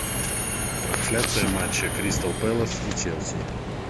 трансляция матча кристал пэлас и челси